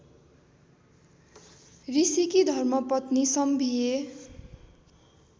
ऋषिकी धर्मपत्नी सम्भिए